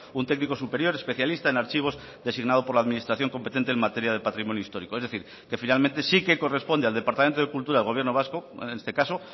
un técnico superior especialista en archivos designado por la administración competente en materia de patrimonio histórico es decir que finalmente sí que corresponde al departamento de cultura del gobierno vasco en este caso